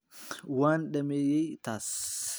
Waan dhameeyay taas.